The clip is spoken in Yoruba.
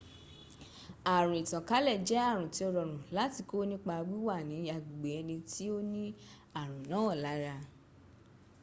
àrùn ìtànkálẹ̀ jẹ́ àrùn tí ó rọrùn láti kó nípa wíwà ní agbègbè ẹni tó ní àrùn náà lára